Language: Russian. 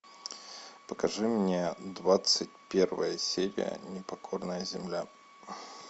покажи мне двадцать первая серия непокорная земля